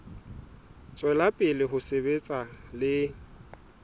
tswela pele ho sebetsa le